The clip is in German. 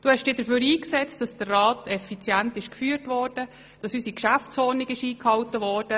Du hast dich dafür eingesetzt, dass der Rat effizient geführt und unsere Geschäftsordnung eingehalten wurde.